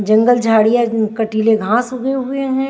जंगल झाड़ियां कंटीले घास उगे हुए हैं।